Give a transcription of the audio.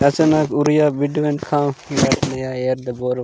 रचनक उड़िया बीड मेड खाओ एयर द बोरो --